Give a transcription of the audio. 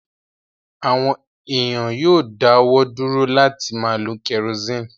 Àwọn èèyàn yóò dáwọ́ dúró láti máa lo kẹrosíìnì